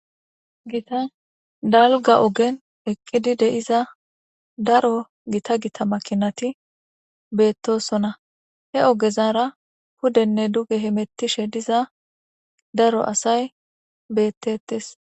Gitta daliga ogen eqizi de'iza daro gitta gitta makinati betosona he ogezara pudene dugene hetiza asay betetes